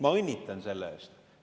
Ma õnnitlen selle puhul!